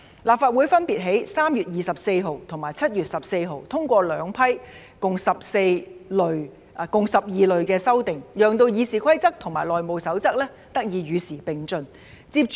立法會分別在3月24日和7月14日通過兩批共12類的修訂，讓《議事規則》和《內務守則》得以與時並進。